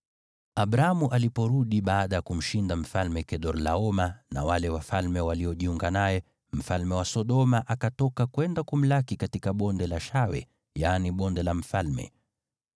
Abramu aliporudi baada ya kumshinda Mfalme Kedorlaoma na wale wafalme waliojiunga naye, mfalme wa Sodoma akatoka kwenda kumlaki katika Bonde la Shawe (yaani Bonde la Mfalme).